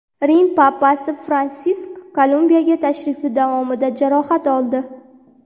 Rim papasi Fransisk Kolumbiyaga tashrifi davomida jarohat oldi.